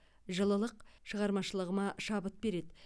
жылылық шығармашылығыма шабыт береді